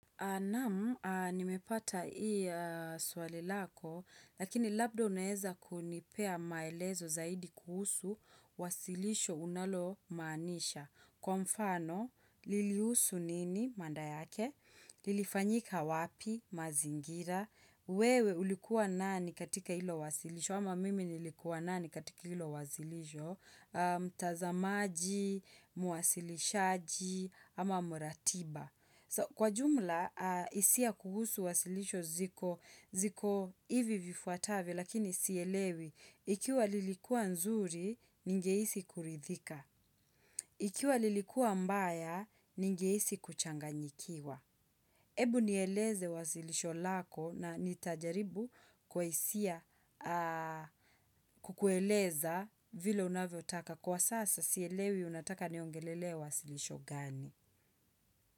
Naam, nimepata hili swali lako, lakini labda unaeza kunipea maelezo zaidi kuhusu, wasilisho unalo maanisha. Kwa mfano, lilihusu nini, maana yake? Lilifanyika wapi, mazingira? Wewe ulikuwa nani katika hilo wasilisho? Ama mimi nilikuwa nani katika hilo wasilisho? Mtazamaji, mwasilishaji, ama muratiba? Kwa jumla, hisia kuhusu wasilisho ziko hivi vifuatavyo, lakini sielewi. Ikiwa lilikua nzuri, ningehisi kuridhika. Ikiwa lilikuwa mbaya, ningehisi kuchanganyikiwa. Ebu nieleze wasilisho lako na nitajaribu kwa hisia kukueleza vile unavyotaka. Kwa sasa, sielewi unataka niongelele wasilisho gani.